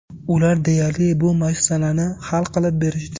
Ular deyarli, bu masalani hal qilib berishdi.